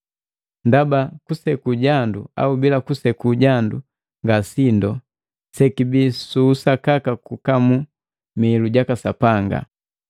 Ndaba kuseku jandu au bila kuseku jandu nga sindu, sekibii su usakaka kukamu mihiilu jaka Sapanga.